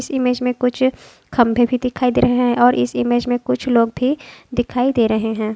इस इमेज में कुछ खंबे भी दिखाई दे रहे है और इस इमेज में कुछ लोग भी दिखाई दे रहे है।